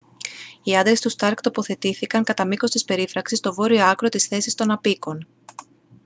οι άντρες του σταρκ τοποθετήθηκαν κατά μήκος της περίφραξης στο βόρειο άκρο της θέσης των αποίκων